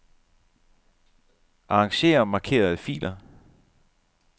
Arranger markerede filer.